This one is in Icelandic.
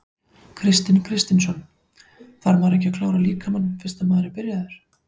Kristinn Kristinsson: Þarf maður ekki að klára líkamann fyrst að maður er byrjaður?